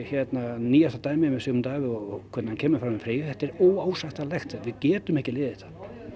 nýjasta dæmið með Sigmund Davíð og hvernig hann kemur fram við Freyju þetta er óásættanlegt við getum ekki liðið þetta